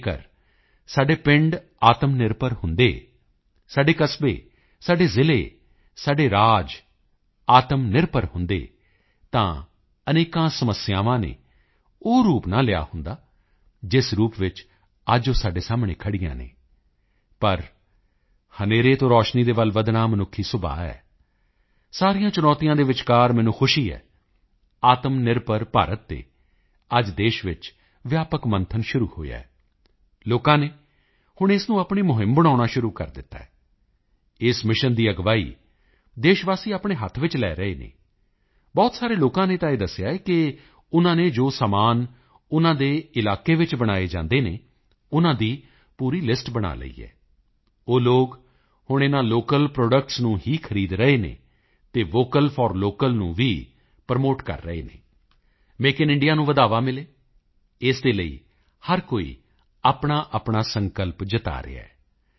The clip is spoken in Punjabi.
ਅਗਰ ਸਾਡੇ ਪਿੰਡ ਆਤਮਨਿਰਭਰ ਹੁੰਦੇ ਸਾਡੇ ਕਸਬੇ ਸਾਡੇ ਜ਼ਿਲ੍ਹੇ ਸਾਡੇ ਰਾਜ ਆਤਮਨਿਰਭਰ ਹੁੰਦੇ ਤਾਂ ਅਨੇਕਾਂ ਸਮੱਸਿਆਵਾਂ ਨੇ ਉਹ ਰੂਪ ਨਾ ਲਿਆ ਹੁੰਦਾ ਜਿਸ ਰੂਪ ਵਿੱਚ ਅੱਜ ਉਹ ਸਾਡੇ ਸਾਹਮਣੇ ਖੜ੍ਹੀਆਂ ਹਨ ਲੇਕਿਨ ਹਨੇਰੇ ਤੋਂ ਰੋਸ਼ਨੀ ਵੱਲ ਵਧਣਾ ਮਨੁੱਖੀ ਸੁਭਾਅ ਹੈ ਸਾਰੀਆਂ ਚੁਣੌਤੀਆਂ ਦਰਮਿਆਨ ਮੈਨੂੰ ਖੁਸ਼ੀ ਹੈ ਕਿ ਆਤਮਨਿਰਭਰ ਭਾਰਤ ਤੇ ਅੱਜ ਦੇਸ਼ ਵਿੱਚ ਵਿਆਪਕ ਮੰਥਨ ਸ਼ੁਰੂ ਹੋਇਆ ਹੈ ਲੋਕਾਂ ਨੇ ਹੁਣ ਇਸ ਨੂੰ ਆਪਣਾ ਅਭਿਯਾਨ ਬਣਾਉਣਾ ਸ਼ੁਰੂ ਕਰ ਦਿੱਤਾ ਹੈ ਇਸ ਮਿਸ਼ਨ ਦੀ ਅਗਵਾਈ ਦੇਸ਼ਵਾਸੀ ਆਪਣੇ ਹੱਥ ਵਿੱਚ ਲੈ ਰਹੇ ਹਨ ਬਹੁਤ ਸਾਰੇ ਲੋਕਾਂ ਨੇ ਤਾਂ ਇਹ ਵੀ ਦੱਸਿਆ ਹੈ ਕਿ ਉਨ੍ਹਾਂ ਨੇ ਜੋਜੋ ਸਮਾਨ ਉਨ੍ਹਾਂ ਦੇ ਇਲਾਕੇ ਵਿੱਚ ਬਣਾਏ ਜਾਂਦੇ ਹਨ ਉਨ੍ਹਾਂ ਦੀ ਪੂਰੀ ਲਿਸਟ ਬਣਾ ਲਈ ਹੈ ਉਹ ਲੋਕ ਹੁਣ ਇਨ੍ਹਾਂ ਲੋਕਲ ਪ੍ਰੋਡਕਟਸ ਨੂੰ ਹੀ ਖਰੀਦ ਰਹੇ ਹਨ ਅਤੇ ਵੋਕਲ ਫੋਰ ਲੋਕਲ ਨੂੰ ਵੀ ਪ੍ਰੋਮੋਟ ਕਰ ਰਹੇ ਹਨ ਮੇਕ ਆਈਐਨ ਇੰਡੀਆ ਨੂੰ ਹੁਲਾਰਾ ਮਿਲੇ ਇਸ ਦੇ ਲਈ ਹਰ ਕੋਈ ਆਪਣਾਆਪਣਾ ਸੰਕਲਪ ਜਤਾ ਰਿਹਾ ਹੈ